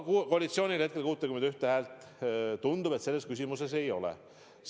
Koalitsioonil hetkel 61 häält, tundub, selles küsimuses ei ole.